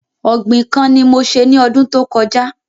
Ògbìn kan ni mo se ní ọdún tó kọjá